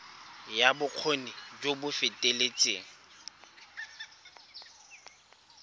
ya bokgoni jo bo feteletseng